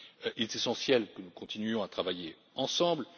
Il est essentiel que nous continuions à travailler ensemble.